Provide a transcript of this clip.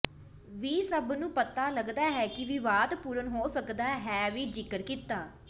ਵੀ ਸਭ ਨੂੰ ਪਤਾ ਲੱਗਦਾ ਹੈ ਕਿ ਵਿਵਾਦਪੂਰਨ ਹੋ ਸਕਦਾ ਹੈ ਵੀ ਜ਼ਿਕਰ ਕੀਤਾ